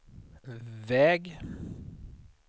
väg